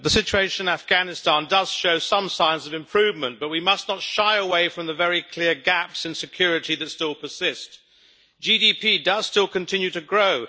Mr President, the situation in Afghanistan does show some signs of improvement, but we must not shy away from the very clear gaps in security that still persist. GDP does still continue to grow.